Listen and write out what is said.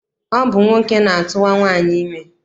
Ọ bụ nwoke na-atụwa nwaanyị ime.